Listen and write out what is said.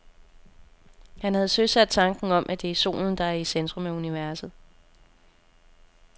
Han havde søsat tanken om, at det er solen, der er i centrum af universet.